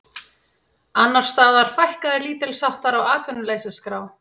Annars staðar fækkaði lítilsháttar á atvinnuleysisskrá